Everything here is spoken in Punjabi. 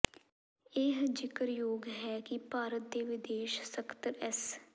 ਇਹ ਜ਼ਿਕਰਯੋਗ ਹੈ ਕਿ ਭਾਰਤ ਦੇ ਵਿਦੇਸ਼ ਸਕੱਤਰ ਐਸ